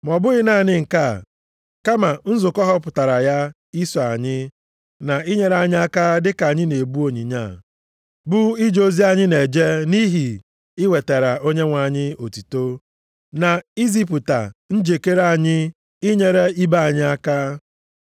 Ma ọ bụghị naanị nke a, kama nzukọ họpụtara ya iso anyị, na inyere anyị aka dịka anyị na-ebu onyinye a, bụ ije ozi anyị na-eje nʼihi iwetara Onyenwe anyị otuto, na izipụta njikere anyị inyere ibe anyị aka.